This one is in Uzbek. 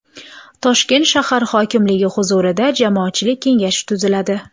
Toshkent shahar hokimligi huzurida jamoatchilik kengashi tuziladi.